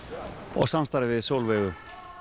og samstarfið við Sólveigu